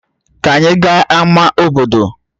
Ka anyị gaa ama obodo